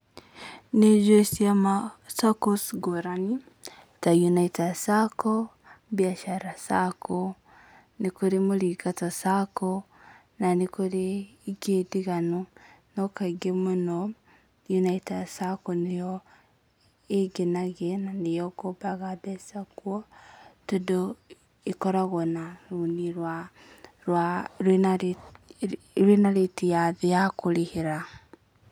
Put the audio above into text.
Nĩ njũi ciama, SACCOs ngũrani ta Unaitas sacco, Biashara sacco, nĩ kũrĩ Muringato sacco, na nĩ kũrĩ ingĩ ndiganu, no kaingĩ mũno, Ũnaitas sacco nĩyo ĩngenagia, na nĩyo ngombaga mbeca kuo, tondũ ĩkoragwo na rũni rwĩna rĩti ya thĩ ya kũrĩhĩra.